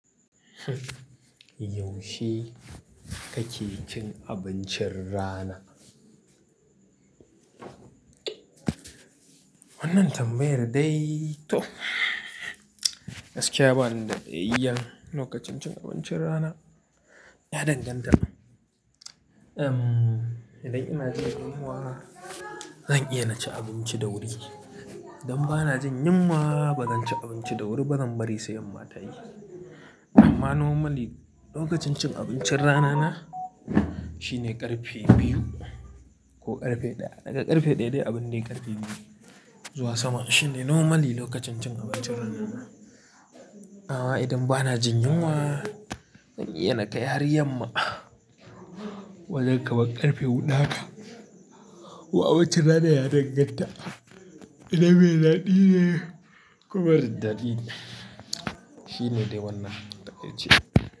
Yaushe kake cin abincin rana? Wannan tambayar dai toh, gaskiya bani da da'ayyan. Lokacin cin abincin rana ya danganta. Idan ina jin yunwa zan iya na ci abinci da wuri. Idan ba na jin yunwa ba, zan ci abinci da wuri ba, zan bari sai yamma tayi. Amma normally lokacin cin abincin rana na Shine ƙarfe biyu ko ƙarfe ɗaya. Daga ƙarfe ɗaya dai abin da ya ƙarfe biyu zuwa sama shine normally lokacin cin abincin rana na. Amma idan ba na jin yunwa zan iya na kai har yamma wajen kaman ƙarfe huɗu haka. Wai abincin rana ya danganta. Idan mai daɗi ne ko mara daɗi, shine dai wannan da ake cewa.